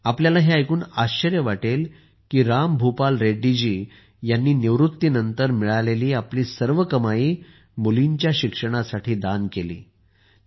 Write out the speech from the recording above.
तुम्हाला हे ऐकून आश्चर्य वाटेल की रामभूपाल रेड्डी जी यांनी निवृत्तीनंतर मिळालेली आपली सर्व कमाई मुलींच्या शिक्षणासाठी दान केली आहे